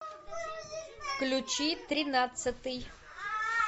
включи тринадцатый